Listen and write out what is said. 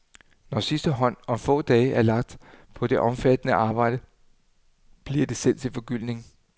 Når sidste hånd om få dage er lagt på det omfattende arbejde, bliver det sendt til forgyldning.